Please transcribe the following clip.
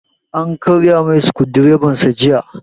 An karya mai sukudireban sa jiya